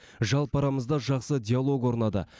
жалпы арамызда жақсы диалог орнады